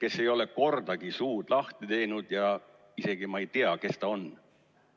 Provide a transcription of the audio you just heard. Ta ei ole kordagi suud lahti teinud ja ma isegi ei tea, kes ta on.